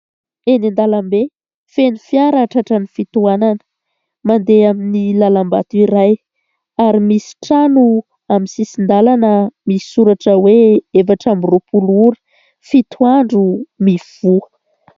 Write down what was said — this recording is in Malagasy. Eny an-dalambe, feno fiara tratran'ny fitohanana mandeha amin'ny lalam-bato iray. Ary misy trano amin'ny sisin-dalana ary misy soratra hoe efatra amby roa-polo ora, fito andro mivoha.